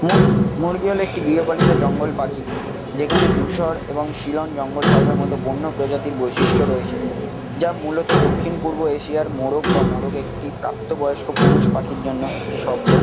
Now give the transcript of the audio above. মুরগি মুরগি হলো একটি গৃহপালিত জঙ্গল পাখি। যেখানে দুষর এবং শিলং জঙ্গল-ফহলের মতো বন্য প্রজাতির বৈশিষ্ট্য রয়েছে। যা মূলত দক্ষিণ-পূর্ব এশিয়ার মোরগ বা মোরগ একটি প্রাপ্ত বয়স্ক পুরুষ পাখির জন্য একটি শব্দ।